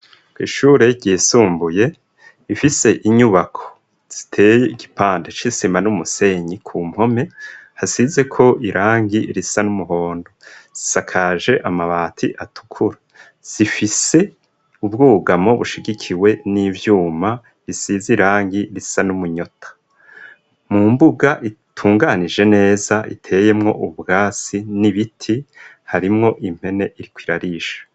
Ko ishure ryisumbuye ifise inyubako ziteye igipande c'isima n'umusenyi ku mpome hasize ko irangi risa n'umuhondo zisakaje amabati atukura sifise ubwugamo bushigikiwe n'ivyuma risize irangi risa n'umunyota mu mbuga itunganije neza iteyemwo ubwasi n'ibiti harimwo impene itwo irarisha.